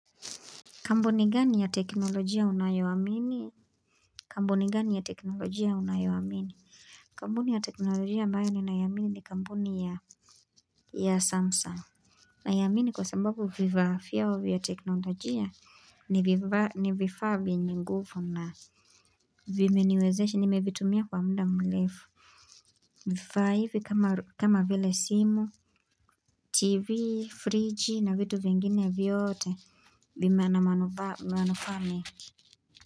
Kampuni gani ya teknolojia unayoamini? Kampuni gani ya teknolojia unayoamini? Kampuni ya teknolojia ambayo ninaiamini ni kampuni ya Samsung. Naiamini kwa sababu vifaa vyao vya teknolojia ni vifaa vyenye nguvu na vimenewezesha nimevitumia kwa muda mrefu. Vifaa hivi kama vile simu, tv, friji na vitu vingine vyote vina manufaa mingi.